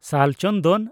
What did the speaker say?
ᱥᱟᱞ ᱪᱚᱱᱫᱚᱱ